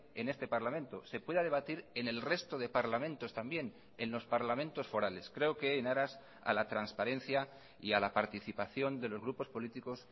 en este parlamento se pueda debatir en el resto de parlamentos también en los parlamentos forales creo que en aras a la transparencia y a la participación de los grupos políticos